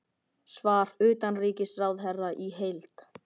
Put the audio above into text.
Svar utanríkisráðherra í heild